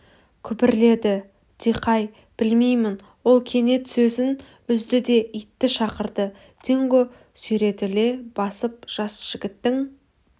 күбірледі дикай білмеймін ол кенет сөзін үзді де итті шақырды динго сүйретіле басып жас жігіттің